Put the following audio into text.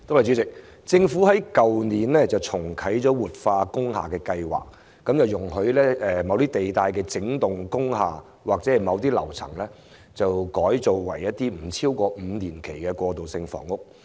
政府在去年重啟活化工廈計劃，容許某些地帶的整幢工廈或樓層改裝為一些不超過5年期的過渡性房屋。